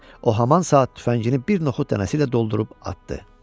O haman saat tüfəngini bir noxud dənəsi ilə doldurub atdı.